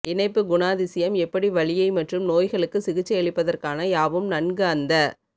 இணைப்பு குணாதிசயம் எப்படி வலியை மற்றும் நோய்களுக்கு சிகிச்சையளிப்பதற்கான யாவும் நன்கு அந்த